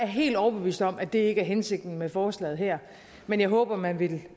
helt overbevist om at det ikke er hensigten med forslaget her men jeg håber at man vil